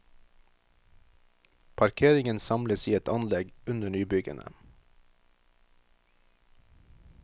Parkeringen samles i et anlegg under nybyggene.